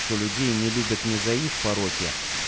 что людей не любят не за их пороки